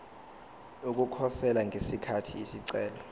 ukukhosela ngesikhathi isicelo